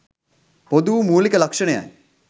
පොදු වූ මූලික ලක්‍ෂණයයි.